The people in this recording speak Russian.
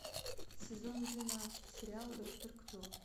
сезон двенадцать сериал доктор кто